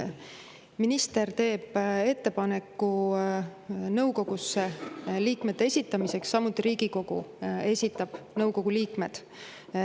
Minister teeb ettepaneku nõukogusse liikmete esitamiseks, samuti Riigikogu esitab nõukogu liikmed.